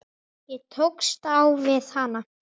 Ég tókst á við hana.